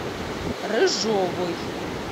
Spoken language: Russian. рыжовой